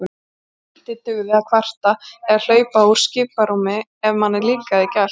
Lítið dugði að kvarta eða hlaupa úr skiprúmi ef manni líkaði ekki allt.